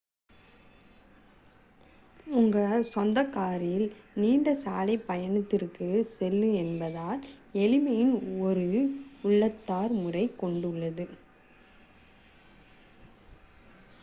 உங்கள் சொந்த காரில் நீண்ட சாலைப் பயணத்திற்குச் செல்வதென்பது எளிமையின் ஒரு உள்ளார்ந்த முறையைக் கொண்டுள்ளது